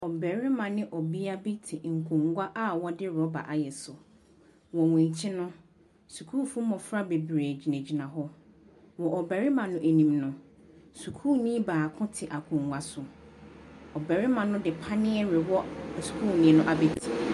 Mmarima ne ɔbea bi te nkonnwa a wɔde rubber ayɛ so. Wɔn akyi no, sukuu mmofra bebree gyinagyina hɔ. Wɔ barima no anim no, sukuuni baako te akonnwa so. Ɔbarima no panneɛ rewɔ sukuuni no abeti.